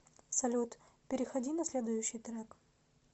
салют переходи на следующий трек